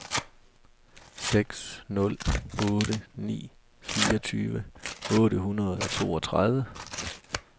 seks nul otte ni fireogtyve otte hundrede og toogtredive